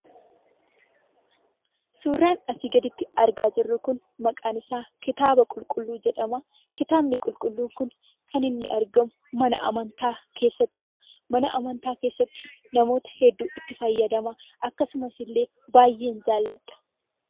Suuraan asii gaditti argaa jirru kun maqaan isaa Kitaaba Qulqulluu jedhama. Kitaabni Qulqulluu kun kan inni argamu, mana amantaa keessattidha. Mana amantaa keessatti namootni hedduu itti fayyadama. Akkasumas illee baay'een jaalladha.